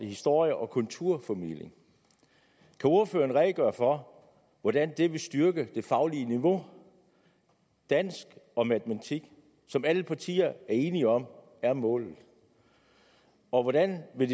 historie og kulturformidling kan ordføreren redegøre for hvordan det vil styrke det faglige niveau i dansk og matematik som alle partier er enige om er målet og hvordan vil